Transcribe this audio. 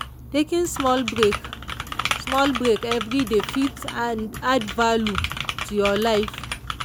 taking small break small break everyday fit add value to your life.